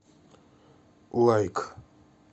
лайк